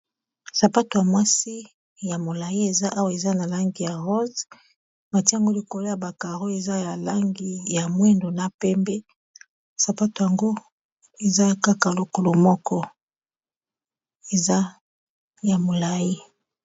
sapato ya mwasi ya molai eza awa eza na langi ya ross matiyango likolo ya bacaro eza ya langi ya mwendo na pembe sapato yango eza kaka lokolo moko eza ya molai